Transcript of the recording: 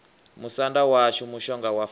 musanda washu mushonga wa falo